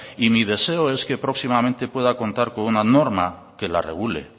y mi deseo es que próximamente pueda contar con una norma quela regule